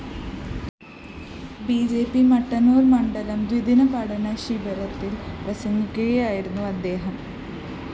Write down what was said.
B J P Mattannur‍ മണ്ഡലം ദ്വിദിന പഠന ശിബിരത്തില്‍ പ്രസംഗിക്കുകയായിരുന്നു അദ്ദേഹം